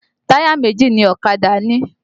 Táyà méjì ni ọ̀kadà ní